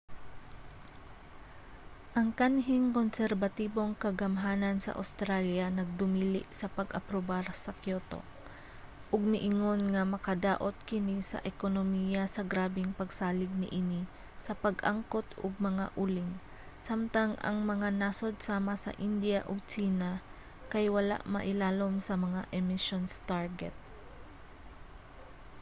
ang kanhing konserbatibong kagamhanan sa awstralya nagdumili sa pag-aprobar sa kyoto ug miingon nga makadaot kini sa ekonomiya sa grabeng pagsalig niini sa pag-angkot og mga uling samtang ang mga nasod sama sa indiya ug tsina kay wala mailalom sa mga emissions target